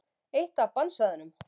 Eitt af bannsvæðunum.